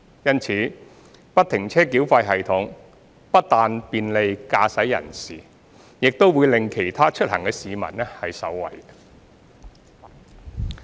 因此，不停車繳費系統不但便利駕駛人士，亦令其他出行的市民受惠。